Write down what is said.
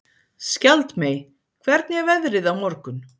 Skjaldmey, hvernig er veðrið á morgun?